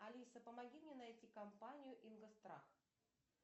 алиса помоги мне найти компанию ингострах